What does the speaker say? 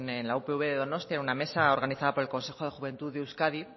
en la upv de donostia en una mesa organizada por el consejo de juventud de euskadi